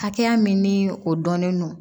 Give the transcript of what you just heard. Hakɛya min ni o dɔnnen don